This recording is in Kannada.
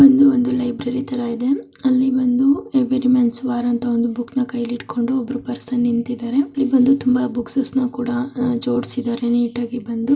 ಇದು ಒಂದು ಲೈಬ್ರೆರಿ ತರಾ ಇದೆ ಅಲ್ಲಿ ಬಂದು ವಾರ್ ಅಂತ ಬುಕ್ಸ್ ನ ಕೈಯಲ್ಲಿ ಹಿಡಿದುಕೊಂಡು ಒಬ್ರು ಪರ್ಸನ್ ನಿಂತಿದ್ದಾರೆ ಇಲ್ಲಿ ಬಂದು ತುಂಬಾ ಬುಕ್ಸ್ ಕೂಡ ಜೋಡಿಸುತ್ತಿದ್ದಾರೆ ನೀಟಾಗಿ ಬಂದು--